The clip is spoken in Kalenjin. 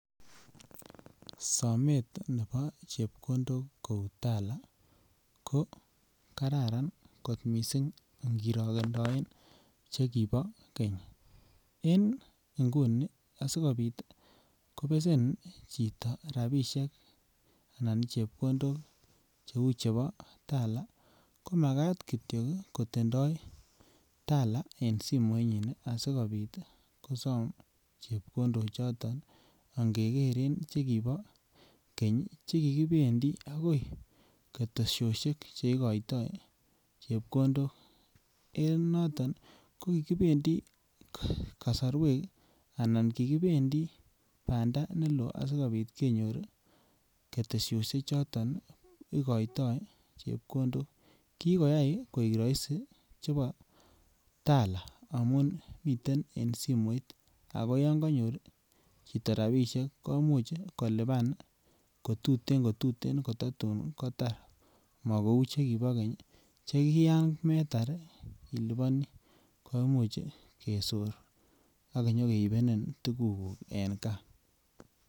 Somet nebo chepkondok koi Tala ko kararan kot missing kirongedoen chekibo keny, en ngunii asikopit kobesen chito rabishek anan chepkondok che uu chebo Tala ko makat kityo ii komakat kotindoi Tala en simoinyin asikopit kosom chepkondok choton angegeren chekibo keny che kikibendi agoi keteshoshek che igoito chepkondok en noton ko kikibendi kosorwek anan kikibendi banda neloo sikopit kenyor keteshoshek choton ii igoitoi chepkondok. Kii koyay koik roisi chebo Tala ngamun miten en simoit ako yon konyor chito rabishek komuch kolipan kotuten kotuten ko tatun kotar mo kouu chekibo keny che ki yan metar ii iliponi koimuch kesor ak nyo keibenin tugukuk en gaa